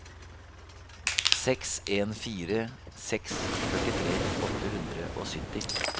seks en fire seks førtitre åtte hundre og sytti